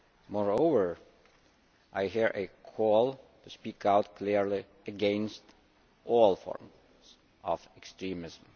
Moreover, I hear a call to speak out clearly against all forms of extremism.